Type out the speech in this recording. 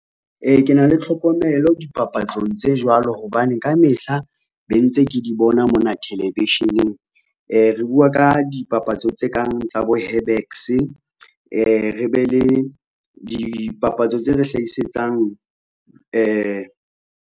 Ke na le tlhokomelo dipapatsong tse jwalo hobane ka mehla be ntse ke di bona mona television-eng, re bua ka dipapatso tse kang tsa bo herbex, re be le dipapatso tse re hlahisetsang .